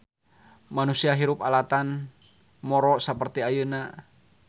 Manusa hirup alatan moro saperti ayeuna.